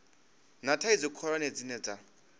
na thaidzo khulwane dzine dza